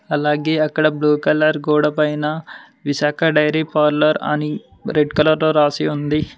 అలాగే అక్కడ blue colour గోడపైన విశాఖ డైరీ పార్లర్ అని రెడ్ కలర్ లో రాసి ఉంది.